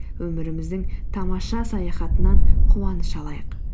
өміріміздің тамаша саяхатынан қуаныш алайық